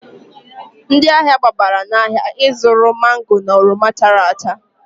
Ndị ahịa gbabara n'ahịa ịzụrụ mango na oroma chara acha.